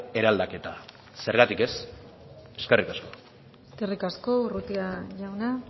eraldaketa zergatik ez eskerrik asko eskerrik asko urrutia jauna